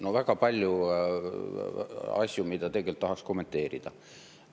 No väga palju asju, mida tegelikult tahaks kommenteerida.